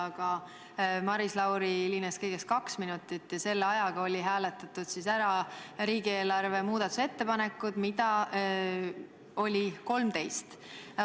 Aga Maris Lauri hilines kõigest kaks minutit ja selle ajaga olid hääletatud läbi riigieelarve muudatusettepanekud, mida oli 13.